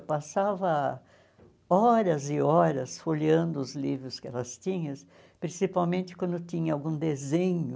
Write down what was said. Eu passava horas e horas folheando os livros que elas tinham, principalmente quando tinha algum desenho.